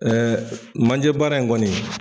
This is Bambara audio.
Ɛɛ manjɛ baara in kɔni.